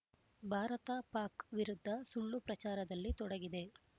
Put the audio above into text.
ಭಾರತ ಪಾಕ್ ವಿರುದ್ಧ ಸುಳ್ಳು ಪ್ರಚಾರದಲ್ಲಿ ತೊಡಗಿದೆ